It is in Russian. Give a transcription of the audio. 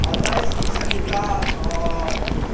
одна из них занята